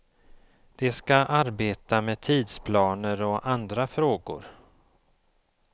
De ska arbeta med tidsplaner och andra frågor.